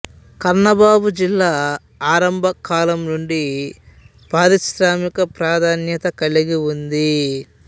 కన్నూఋ జిల్లా ఆరంభకాలం నుండి పారిశ్రామిక ప్రాధాన్యత కలిగి ఉంది